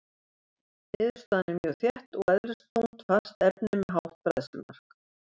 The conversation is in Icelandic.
Niðurstaðan er mjög þétt og eðlisþungt fast efni með hátt bræðslumark.